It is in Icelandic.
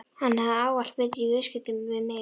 Hann hafði ávallt betur í viðskiptum við mig.